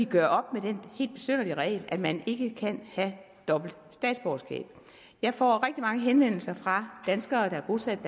gøre op med den helt besynderlige regel at man ikke kan have dobbelt statsborgerskab jeg får rigtig mange henvendelser fra danskere der er bosat